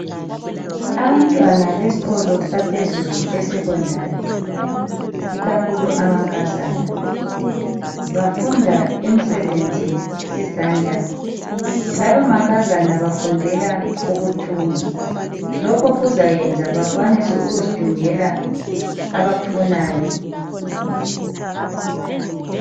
Abantwana besikolo saphezulu esecondary ikakhulu amankazana . Bafunda imisebenzi yezandla. Labo mankazana bafundela ukuthunga. Lokhu kuzayenza bakwanise ukuzithungela abakufunayo.